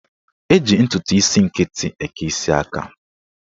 Eji ntụtụ isi nkịtị eke isi aka.